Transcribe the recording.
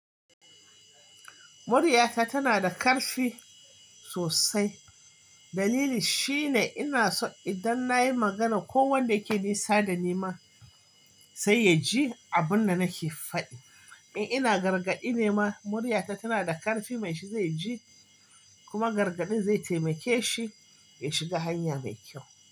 Muryata tana da ƙarfi sosai. Dalili shine inason idan nayi magana ko wanda ke nisa da ni ma sai ya ji abin da nake faɗi. In ina gargaɗi ne ma muryata tana da ƙarfi, mai shi zai ji kuma gargaɗin zai taimake shi ya shiga hanya mai kyau.